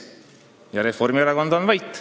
Ja Reformierakond on vait.